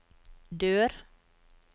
dør